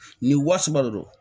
Nin wa saba de don